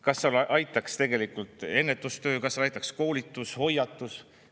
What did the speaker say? Kas aitaks tegelikult ennetustöö, kas aitaks koolitus, hoiatus?